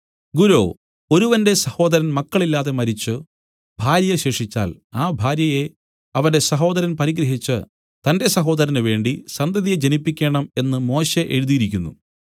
ഗുരോ ഒരുവന്റെ സഹോദരൻ മക്കളില്ലാതെ മരിച്ചു ഭാര്യ ശേഷിച്ചാൽ ആ ഭാര്യയെ അവന്റെ സഹോദരൻ പരിഗ്രഹിച്ച് തന്റെ സഹോദരനുവേണ്ടി സന്തതിയെ ജനിപ്പിക്കേണം എന്നു മോശെ എഴുതിയിരിക്കുന്നു